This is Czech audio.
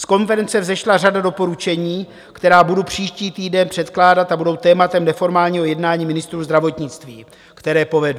Z konference vzešla řada doporučení, která budu příští týden předkládat a budou tématem neformálního jednání ministrů zdravotnictví, které povedu.